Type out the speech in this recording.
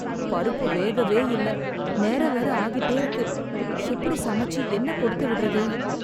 பருப்பு வேகவே இல்ல, நேரம் வேற ஆகிட்டே இருக்கு. எப்படி சமைச்சு என்ன கொடுத்து விடறது?